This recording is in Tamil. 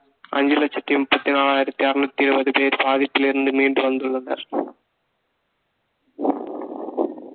அஞ்சு லட்சத்தி முப்பத்தி நாலாயிரத்தி அறநூத்தி இருபது பேர் பாதிப்பிலிருந்து மீண்டு வந்துள்ளனர்